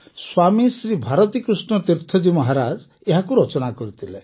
ସ୍ୱାମୀ ଶ୍ରୀ ଭାରତୀକୃଷ୍ଣ ତୀର୍ଥଜୀ ମହାରାଜ ଏହାକୁ ରଚନା କରିଥିଲେ